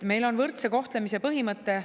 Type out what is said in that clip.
Eestis on võrdse kohtlemise põhimõte.